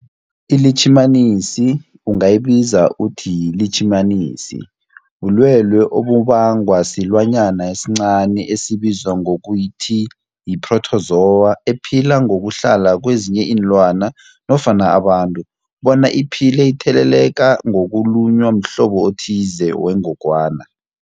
ILitjhimanisi ungayibiza uthiyilitjhimanisi, bulwelwe obubangwa silwanyana esincani esibizwa ngokuthi yi-phrotozowa ephila ngokuhlala kezinye iinlwana nofana abantu bona iphile itheleleka ngokulunywa mhlobo othize wengogwana.